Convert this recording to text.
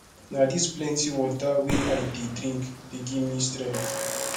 na dis plenty water wey i dey drink dey give me strength